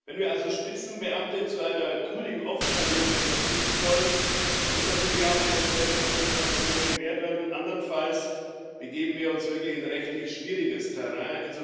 Wenn wir also Spitzenbeamte zu einer Periode verpflichten wollen, muss natürlich auch eine entsprechende Kompensation gewährt werden. Andernfalls begeben wir uns wirklich in rechtlich schwieriges Terrain.